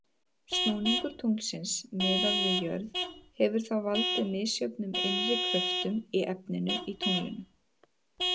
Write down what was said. Snúningur tunglsins miðað við jörð hefur þá valdið misjöfnum innri kröftum í efninu í tunglinu.